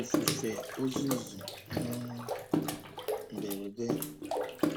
Ifufe ozuzo um mberede